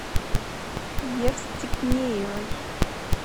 евстигнеевой